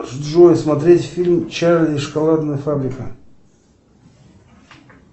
джой смотреть фильм чарли и шоколадная фабрика